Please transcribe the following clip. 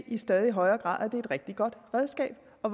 i stadig højere grad er et rigtig godt redskab og